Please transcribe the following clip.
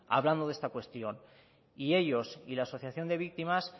hablando de esta cuestión y ellos y la asociación de víctimas